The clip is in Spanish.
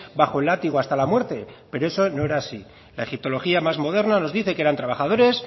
bajo el látigo hasta la muerte pero eso no es así la egiptología más moderna nos dice que eran trabajadores